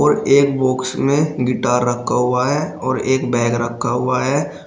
एक बॉक्स में गिटार रखा हुआ है और एक बैग रखा हुआ है।